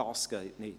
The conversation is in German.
Dies geht nicht.